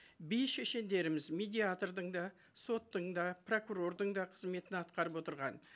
би шешендеріміз медиатордың да соттың да прокурордың да қызметін атқарып отырған